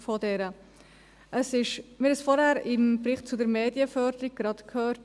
Wir haben es soeben vorhin zum Bericht zur Medienförderung gehört: